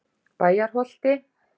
Bæjarholti